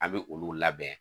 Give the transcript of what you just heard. A bɛ olu labɛn